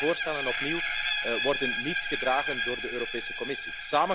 Beide voorstellen opnieuw worden niet gedragen door de Europese Commissie.